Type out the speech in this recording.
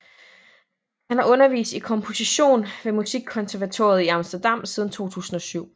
Han har undervist i komposition ved Musikkonservatoriet i Amsterdam siden 2007